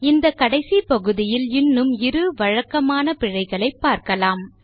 இந்த கடைசி பகுதியில் இன்னும் இரு வழக்கமான பிழைகளை பார்க்கலாம்